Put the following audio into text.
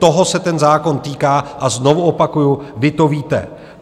Toho se ten zákon týká a znovu opakuju, vy to víte.